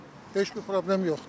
Heç bir problem yoxdur.